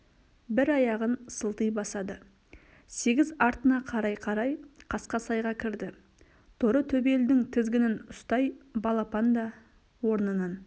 бір аяғын сылти басады сегіз артына қарай-қарай қасқасайға кірді торы төбелдің тізгінін ұстай балпан да орнынан